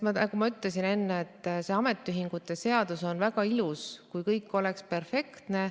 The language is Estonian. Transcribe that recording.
Nagu ma enne ütlesin, ametiühingute seadus oleks väga ilus, kui kõik oleks perfektne.